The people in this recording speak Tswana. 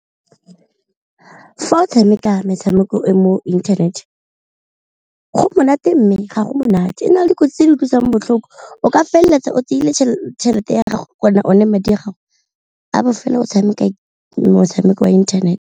Fa o tshameka metshameko e mo internet go monate mme ga go monate ena dikotsi tse di utlwisang botlhoko, o ka feleletsa o tseile tšhelete ya gago o ne madi a gago a bofelo o tshameka motshameko wa internet.